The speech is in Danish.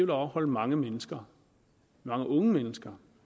det afholde mange mennesker mange unge mennesker